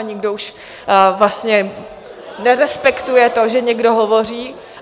... a nikdo už vlastně nerespektuje to, že někdo hovoří.